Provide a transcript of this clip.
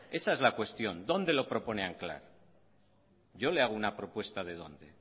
esa es la cuestión dónde lo propone anclar yo le hago una propuesta de dónde